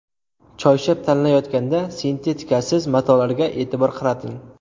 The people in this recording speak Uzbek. Choyshab tanlayotganda sintetikasiz matolarga e’tibor qarating.